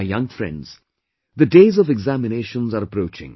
My younger friends, the days of examinations are approaching